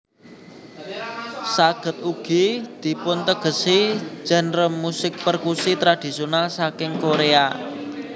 Saged ugi dipuntegesi genre musik perkusi tradisional saking korea